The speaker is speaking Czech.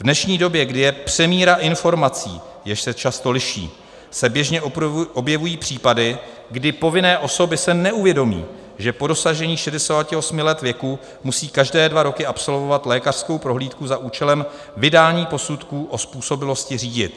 V dnešní době, kdy je přemíra informací, jež se často liší, se běžně objevují případy, kdy povinné osoby si neuvědomí, že po dosažení 68 let věku musí každé dva roky absolvovat lékařskou prohlídku za účelem vydání posudku o způsobilosti řídit.